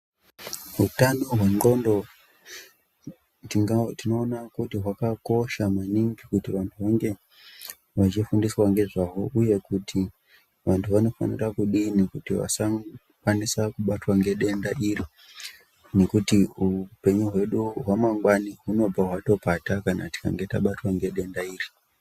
Hutano hwendxondo tinoona kuti hwakakosha maningi kuti vantu vange vachifundiswa ngezvahwo uye kuti vantu vanofanira kudini kuti vasakwanisa kubatwa ngedenda iri ngekuti hupenyu hwedu hwamangwani hwunobva hwapata tikabatwa ngedenda iri.